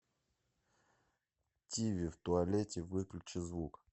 тиви в туалете выключи звук